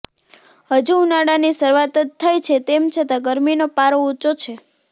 હજુ ઉનાળાની શરૂઆત જ થઇ છે તેમ છતાં ગરમીનો પારો ઉંચો છે